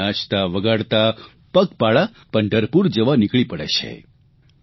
ગાતાં નાચતાં વગાડતાં પગપાળા પંઢરપુર જવા નીકળી પડે છે